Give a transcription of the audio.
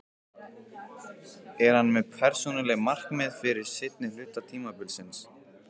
Er hann með persónuleg markmið fyrir seinni hluta tímabilsins?